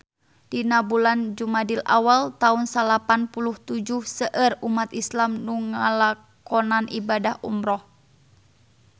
Dina bulan Jumadil awal taun salapan puluh tujuh seueur umat islam nu ngalakonan ibadah umrah